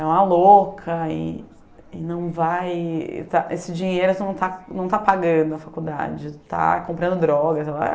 É uma louca e e não vai... Esse dinheiro tu não está, não está pagando na faculdade, está comprando drogas.